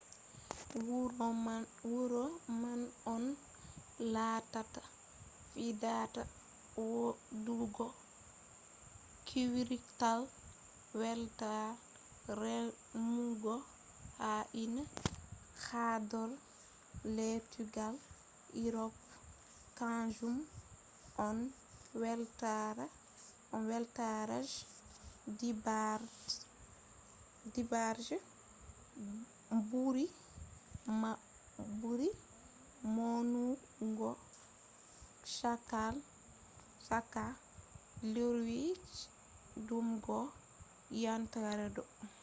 wuro man on lattata fuɗɗata waɗugo kwrital weltaare remugo na’i ha horɗoore lettugal urop kanjum on weltare je ɗiɗabre je ɓuri maunugo chaka lewru jun yahugo ogost ha yontere ɗo